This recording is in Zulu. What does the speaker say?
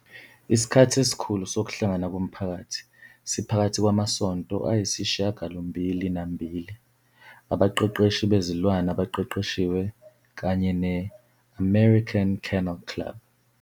Isikhathi esikhulu sokuhlangana komphakathi siphakathi kwamasonto ayisishiyagalombili nambili, abaqeqeshi bezilwane abaqeqeshiwe kanye ne-American Kennel Club.